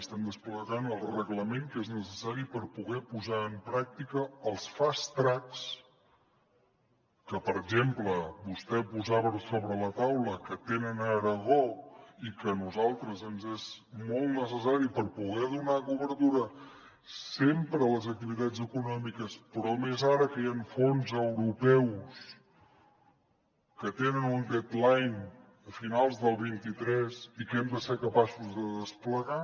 estem desplegant el reglament que és necessari per poder posar en pràctica els fast tracks que per exemple vostè posava sobre la taula que tenen a aragó i que a nosaltres ens és molt necessari per poder donar cobertura sempre a les activitats econòmiques però més ara que hi han fons europeus que tenen un deadline a finals del vint tres i que hem de ser capaços de desplegar